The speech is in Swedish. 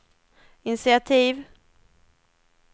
initiativ